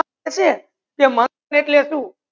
કહે સે એટલી સુ